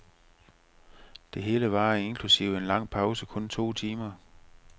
Det hele varer inklusive en lang pause kun to timer.